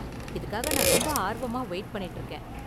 இதுக்காக நான் ரொம்ப ஆர்வமா வெயிட் பண்ணிட்டு இருக்கேன்.